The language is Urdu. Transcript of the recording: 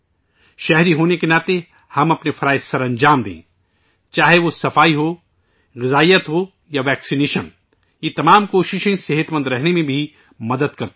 شہری ہونے کے ناطے ہم اپنے فرائض سرانجام دیتے ہیں، چاہے وہ صفائی ہو، غذائیت ہو یا ویکسینیشن، ان سب کوششوں سے صحت مند رہنے میں بھی مدد ملتی ہے